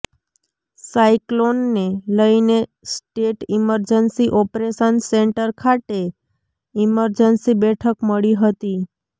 સાયક્લોનને લઈને state emergency operation centre ખાતે emergency બેઠક મળી હતી